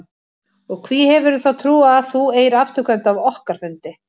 Og hví hefurðu þá trú að þú eigir afturkvæmt af okkar fundi?